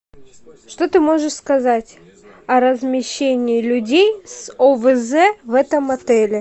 что ты можешь сказать о размещении людей с овз в этом отеле